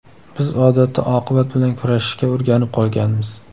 Biz odatda oqibat bilan kurashishga o‘rganib qolganmiz.